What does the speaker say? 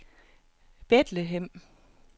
Bethlehem